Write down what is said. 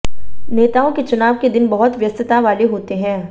नेताओं के चुनाव के दिन बहुत व्यस्तता वाले होते हैं